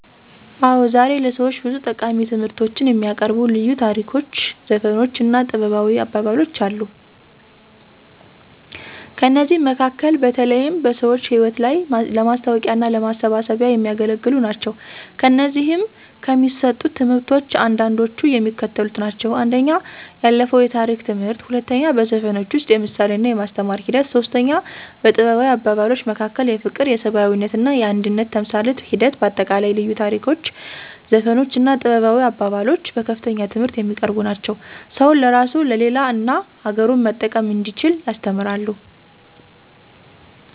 አዎ ዛሬ ለሰዎች ብዙ ጠቃሚ ትምህርቶችን የሚያቀርቡ ልዩ ታሪኮች ዘፈኖች እና ጥበባዊ አባባሎች አሉ። ከእነዚህም መካከል በተለይም በሰዎች ህይወት ላይ ለማስታዎቂያና ለማሳሰቢያ የሚያገለግሉ ናቸው። ከእነዚህም ከሚሰጡት ትምህርቶች አንዳንዶቹ የሚከተሉት ናቸው፦ 1. የአለፋው የታሪክ ትምህርት 2. በዘፈኖች ውስጥ የምሳሌና የማስተማር ሒደት 3. በጥበባዊ አባባሎች መካከል የፍቅር የሰብአዊነትና የአንድነት ተምሳሌት ሒደት በአጠቃላይ ልዩ ታሪኮች ዘፈኖች እና ጥበባዊ አባባሎች በከፍተኛ ትምህርት የሚያቀርቡ ናቸው። ሰውን ለራሱ ለሌላ እና አገሩን መጠቀም እንዲችል ያስተምራሉ።